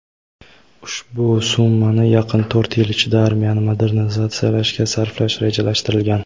ushbu summani yaqin to‘rt yil ichida armiyani modernizatsiyalashga sarflash rejalashtirilgan.